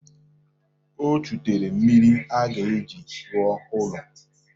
O chutere mmiri a ga-eji rụọ ọrụ.